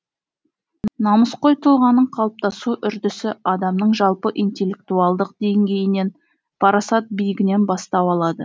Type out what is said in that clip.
намысқой тұлғаның қалыптасу үрдісі адамның жалпы интеллектуалдық деңгейінен парасат биігінен бастау алады